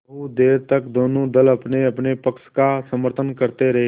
बहुत देर तक दोनों दल अपनेअपने पक्ष का समर्थन करते रहे